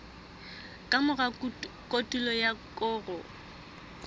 ka mora kotulo ya koro